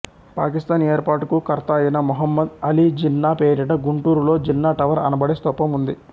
పాకిస్తాన్ ఏర్పాటుకు కర్త అయిన మొహమ్మదు ఆలీ జిన్నా పేరిట గుంటూరులో జిన్నా టవర్ అనబడే స్థూపం ఉంది